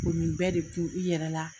O nin bɛɛ de tu i yɛrɛ la